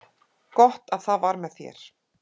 Gott að það var með þér.